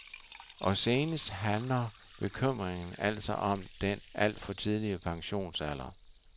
Og senest handler bekymringen altså om den alt for tidlige pensionsalder.